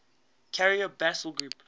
carrier battle group